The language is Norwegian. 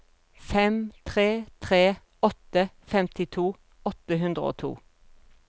fem tre tre åtte femtito åtte hundre og to